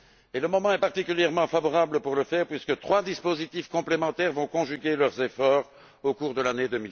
Et le moment est particulièrement favorable pour le faire, puisque trois dispositifs complémentaires vont conjuguer leurs efforts au cours de l'année